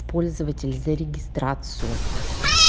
пользователь за регистрацию